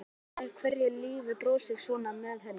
Edda veit vel af hverju lífið brosir svona við henni.